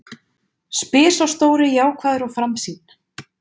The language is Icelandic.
spyr sá stóri jákvæður og framsýnn.